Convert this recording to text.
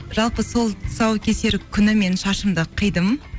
жалпы сол тұсаукесер күні мен шашымды қидым